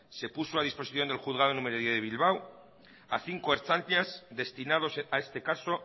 se puso a disposición del juzgado número diez de bilbao a cinco ertzainas destinados a este caso